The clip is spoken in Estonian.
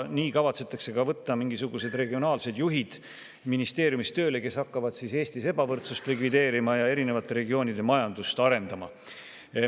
Nii kavatsetakse võtta ka mingisugused regionaalsed juhid ministeeriumis tööle, kes hakkavad Eestis ebavõrdsust likvideerima ja eri regioonide majandust arendama.